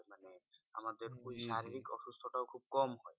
আমাদের ওই শারীরিক অসুস্থ টাও খুব কম হয়।